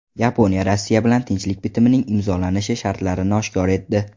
Yaponiya Rossiya bilan tinchlik bitimining imzolanishi shartlarini oshkor etdi.